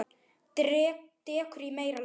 Dekur í meira lagi.